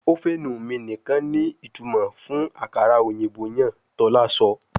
Ovenu mi nikan ni itumọ fun akara oyinbo yan, tola sọ